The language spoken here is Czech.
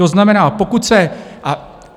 To znamená, pokud se...